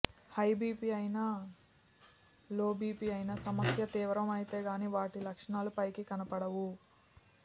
high BP అయినా low BP అయినా సమస్య తీవ్రమైతే గానీ వాటి లక్షణాలు పైకి కనబడవు